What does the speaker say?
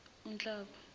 unhlaba